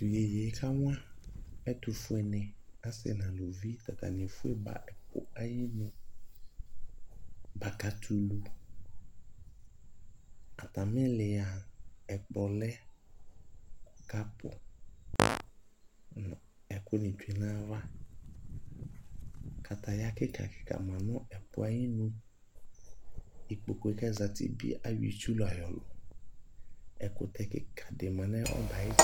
Tʋ iyeye e kawa ɛtʋfue ni, asi nʋ alʋvi, tʋ atani ɛfue ba ɛpʋ ayinʋ bakatɛ ulu Atami ili a, ɛkplɔ lɛ, kapʋ nʋ ɛkʋ ni tsue nayava Kataya kika kika ma nʋ ɛpʋ yɛ ayi nʋ Ikpokʋ yɛ kazati bi ayɔ itsu la yɔlʋ Ɛkʋtɛ kika di ma nʋ ɛbɛ yɛ ayi tsɛdi